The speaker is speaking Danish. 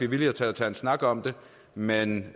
villige til at tage en snak om det men